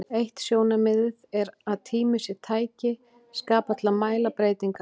Eitt sjónarmiðið er að tími sé tæki skapað til að mæla breytingar.